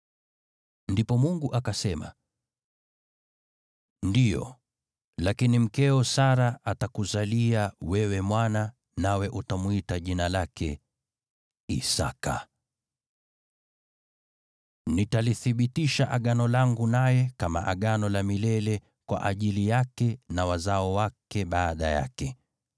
Ndipo Mungu akasema, “Ndiyo, lakini mkeo Sara atakuzalia wewe mwana, nawe utamwita jina lake Isaki. Nitalithibitisha Agano langu naye kama Agano la milele kwa ajili yake na wazao wake baada yake.